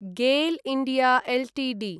GAIL India Ltd